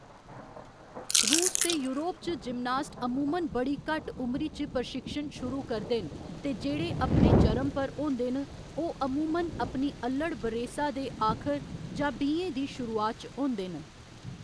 रूस ते यूरोप च जिमनास्ट अमूमन बड़ी घट्ट उमरी च प्रशिक्षण शुरू करदे न ते जेह्‌‌ड़े अपने चरम पर होंदे न ओह्‌‌ अमूमन अपनी अल्लढ़ बरेसा दे आखर जां बीहें दी शुरुआत च होंदे न।